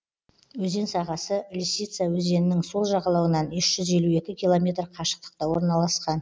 өзен сағасы лисица өзенінің сол жағалауынан үш жүз елу екі километр қашықтықта орналасқан